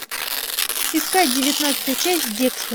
искать девятнадцатая часть декстер